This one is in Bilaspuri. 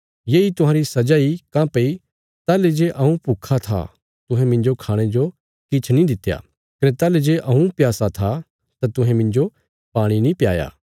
येई तुहांरी सजा इ काँह्भई ताहली जे हऊँ भुक्खा था तुहें मिन्जो खाणे जो किछ नीं दित्या कने ताहली जे हऊँ प्यासा था तुहें मिन्जो पाणी नीं प्याया